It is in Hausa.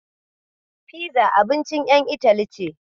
Fiza abincin ƴan Itali ce.